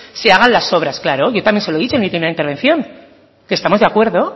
se hagan las obras claro claro yo también se lo he dicho en mi primera intervención que estamos de acuerdo